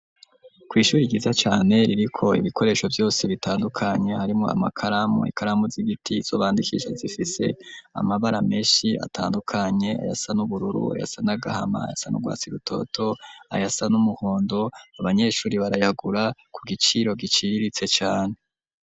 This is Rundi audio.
Kw'ishuri, ryiza cane, ririko ibikoresho vyose, bitandukanye; harimwo amakaramu, ikaramu z'igiti, izo bandikisha, zifise amabara menshi, atandukanye, ayasa n'ubururu, ayasa n'agahama, ayasa n'urwatsi rutoto, ayasa n'umuhondo; abanyeshuri barayagura, ku giciro giciriritse cane.